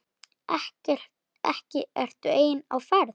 Ekki ertu einn á ferð?